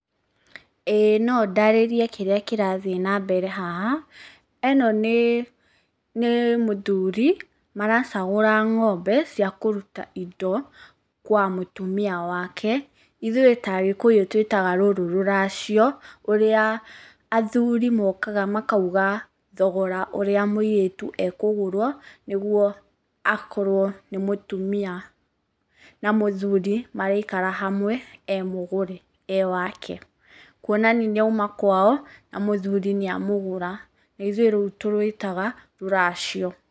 ĩĩ no ndarĩrie kĩrĩa kĩrathiĩ na mbere haha, ĩno nĩ mũthuri, maracagũra ng'ombe cia kũruta indo kwa mũtumia wake, ithuĩ ta agĩkũyũ twĩtaga rũrũ rũracio. Ũrĩa athuri mokaga makauga thogora ũrĩa mũirĩtu ekũgũrwo nĩguo akorwo nĩ mũtumia na mũthuri maraikara hamwe e mũgũre, e wake. Kũonania nĩ auma kwao na mũthuri nĩ amũgũra, na ithuĩ rũu tũrũĩtaga rũracio.